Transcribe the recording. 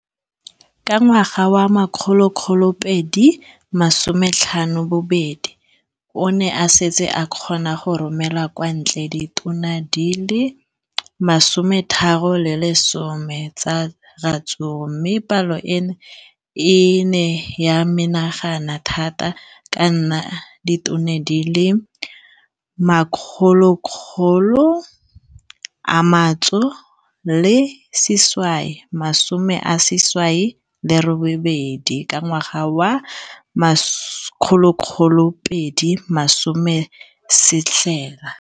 Ka ngwaga wa 2015, o ne a setse a kgona go romela kwa ntle ditone di le 31 tsa ratsuru mme palo eno e ne ya menagana thata go ka nna ditone di le 168 ka ngwaga wa 2016.